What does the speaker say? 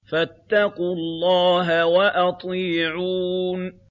فَاتَّقُوا اللَّهَ وَأَطِيعُونِ